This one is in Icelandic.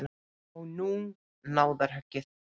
Og nú náðarhöggið.